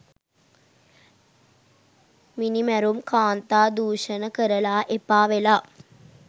මිනිමැරුම් කාන්තා දූෂණ කරලා එපාවෙලා